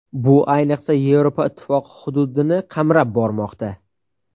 Bu, ayniqsa, Yevropa Ittifoqi hududini qamrab bormoqda.